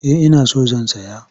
Eh ina so zan saya.